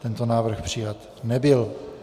Tento návrh přijat nebyl.